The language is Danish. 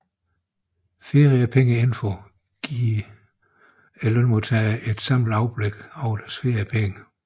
Feriepengeinfo giver lønmodtagerne et samlet overblik over deres feriepenge